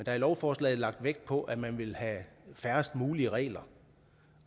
er i lovforslaget lagt vægt på at man vil have færrest mulige regler